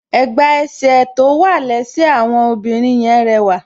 Ẹ̀gbà ẹsẹ̀ tó wà lẹ́sẹ̀ àwọn obìnrin yẹn rẹwà.